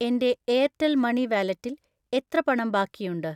എൻ്റെ Airtel money വാലെറ്റിൽ എത്ര പണം ബാക്കിയുണ്ട്?